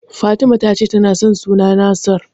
Fatima ta ce tana son suna Nasir.